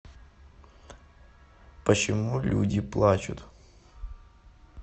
почему люди плачут